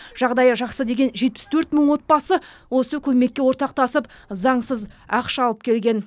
жағдайы жақсы деген жетпіс төрт мың отбасы осы көмекке ортақтасып заңсыз ақша алып келген